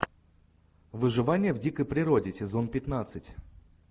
выживание в дикой природе сезон пятнадцать